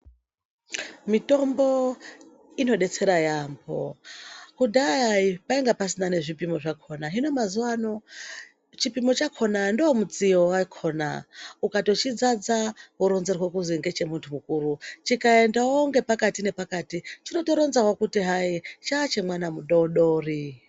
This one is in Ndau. Mitombo inodetsera yaambo. Kudhaya panga pasina nezvipimo zvakona hino mazuwano chipimo chakona ndiwo mutsiyo wakona. Ukatochidzadza woronzerwa kuti ngechemuntu mukuru, chikaendawo pakati nepakati chinotoronzawo kuti chachemwana mudodori.